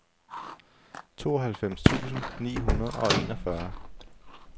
tooghalvfems tusind ni hundrede og enogfyrre